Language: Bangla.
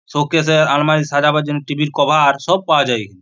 সৌকেশ আলমারি সাজাবার জন্য টিভির কভার আর সব পাওয়া যায় এখানে।